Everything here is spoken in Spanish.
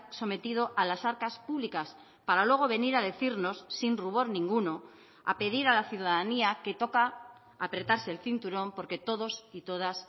sometido a las arcas públicas para luego venir a decirnos sin rubor ninguno a pedir a la ciudadanía que toca apretarse el cinturón porque todos y todas